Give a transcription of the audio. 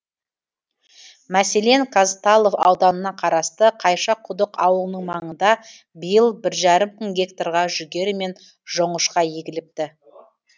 мәселен казталов ауданына қарасты қайшақұдық ауылының маңында биыл бір жарым мың гектарға жүгері мен жоңышқа егіліпті